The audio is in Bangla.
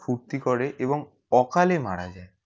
ফুর্তি করে এবং অকালে মারা যায়